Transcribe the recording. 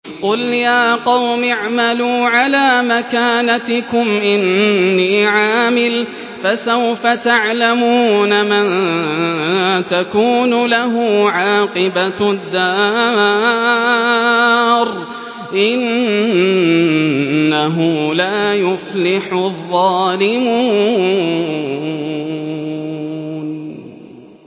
قُلْ يَا قَوْمِ اعْمَلُوا عَلَىٰ مَكَانَتِكُمْ إِنِّي عَامِلٌ ۖ فَسَوْفَ تَعْلَمُونَ مَن تَكُونُ لَهُ عَاقِبَةُ الدَّارِ ۗ إِنَّهُ لَا يُفْلِحُ الظَّالِمُونَ